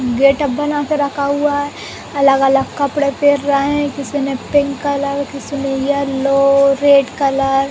Getup बना के रखा हुआ है। अलग-अलग कपडे पेर् रैं किसी ने पिंक कलर किसी ने येलो रेड कलर --